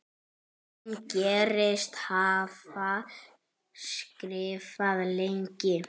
Hún segist hafa skrifað lengi.